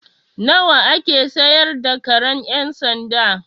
Nawa a ke siyar da karen ƴan sanda?